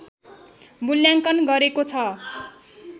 मूल्याङ्कन गरेको छ